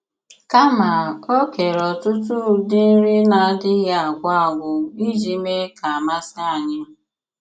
Kàmà, o kèrè ọ̀tùtù ụdị nri na-àdịghị̀ àgwù àgwù iji mèè ka masì ànyị̀.